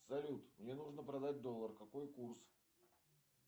салют мне нужно продать доллар какой курс